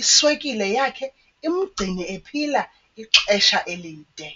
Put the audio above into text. iswekile yakhe imgcine ephila ixesha elide.